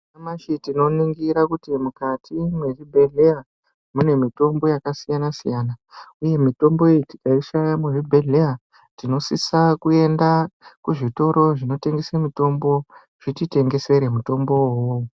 Nyamashi tinoningira kuti mukati mwezvibhedhleya, mune mitombo yakasiyana siyana, uye mitombo iyo tikaishaya muzvibhedhleya, tinosisa kuenda kuzvitoro zvinotengese mitombo, zvititengeesere mutombowo uwowo.